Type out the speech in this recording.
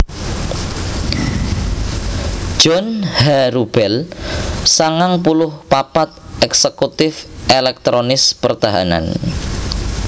John H Rubel sangang puluh papat èksèkutif èlèktronis pertahanan